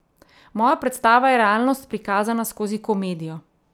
Moja predstava je realnost prikazana skozi komedijo.